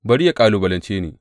Bari yă kalubalance ni!